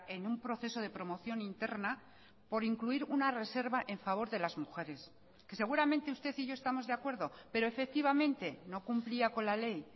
en un proceso de promoción interna por incluir una reserva en favor de las mujeres que seguramente usted y yo estamos de acuerdo pero efectivamente no cumplía con la ley